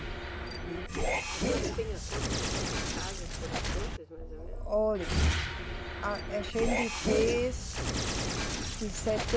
Né. A senhora tem a conta de quantas casas foram feitas, mais ou menos? Olhe, a gente fez de